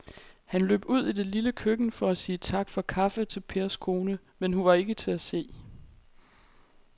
Han løb ud i det lille køkken for at sige tak for kaffe til Pers kone, men hun var ikke til at se.